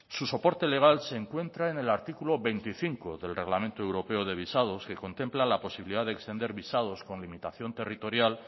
su soporte legal se encuentra en el artículo veinticinco del reglamento europeo de visados que contempla la posibilidad de extender visados con limitación territorial